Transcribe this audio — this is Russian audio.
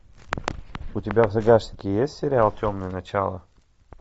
у тебя в загашнике есть сериал темные начала